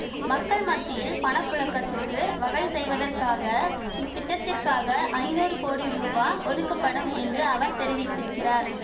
மக்கள் மத்தியில் பண புழக்கத்துக்கு வகை செய்வதற்காக இத்திட்டத்திற்க்காக ஐநூறு கோடி ரூபா ஒதுக்கப்படும் என்று அவர் தெரிவித்திருக்கிறார்